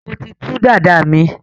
mọ tí tú Dàda mí.